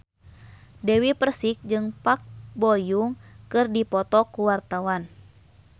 Dewi Persik jeung Park Bo Yung keur dipoto ku wartawan